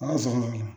Ala sɔnna